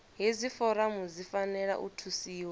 hedzi foramu dzi fanela u thusiwa